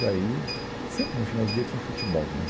Daí, sempre no final do dia tinha futebol, né?